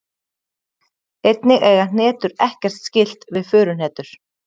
Einnig eiga hnetur ekkert skylt við furuhnetur.